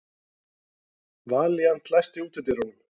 Valíant, læstu útidyrunum.